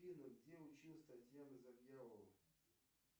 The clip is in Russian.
афина где училась татьяна завьялова